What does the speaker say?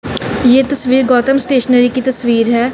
ये तस्वीर गौतम स्टेशनरी की तस्वीर है।